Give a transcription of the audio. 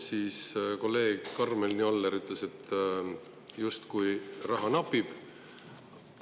Kolleeg Karmen Joller ütles, et justkui raha napib.